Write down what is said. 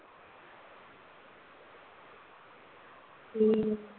ਹਮ